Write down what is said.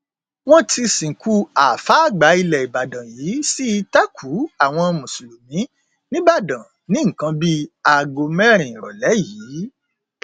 wọn ti sìnkú àáfàá àgbà ilẹ ìbàdàn yìí sí ìtẹkùú àwọn mùsùlùmí nígbàdàn ní nǹkan bíi aago mẹrin ìrọlẹ yìí